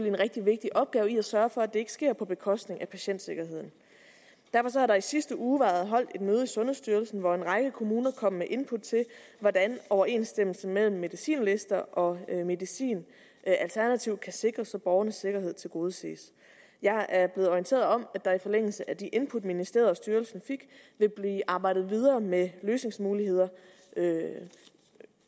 en rigtig vigtig opgave i at sørge for at det ikke sker på bekostning af patientsikkerheden derfor har der i sidste uge været holdt et møde i sundhedsstyrelsen hvor en række kommuner kom med input til hvordan overensstemmelsen mellem medicinlister og medicin alternativt kan sikres så borgernes sikkerhed tilgodeses jeg er blevet orienteret om at der i forlængelse af de input ministeriet og styrelsen fik vil blive arbejdet videre med løsningsmuligheder